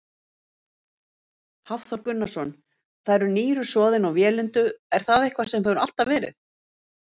Hafþór Gunnarsson: Það eru nýru soðin og vélindu, er það eitthvað sem hefur alltaf verið?